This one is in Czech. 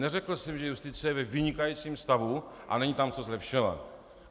Neřekl jsem, že justice je ve vynikajícím stavu a není tam co zlepšovat.